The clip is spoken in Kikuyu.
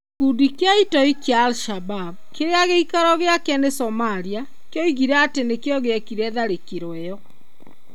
Gĩkundi kĩa itoi kia al-Shabab kĩrĩa gĩikaro gĩake nĩ Somalia kĩoigire atĩ nĩkĩo gĩekire tharĩkĩro ĩyo.